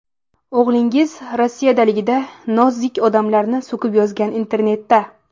O‘g‘lingiz Rossiyadaligida ‘nozik odamlar’ni so‘kib yozgan internetda.